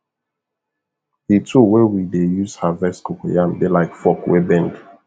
the tool wey we dey use harvest cocoyam dey like fork wey bend